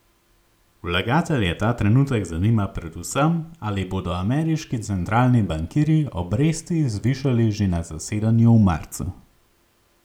Vlagatelje ta trenutek zanima predvsem, ali bodo ameriški centralni bankirji obresti zvišali že na zasedanju v marcu.